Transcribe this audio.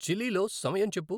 Chile లో సమయం చెప్పు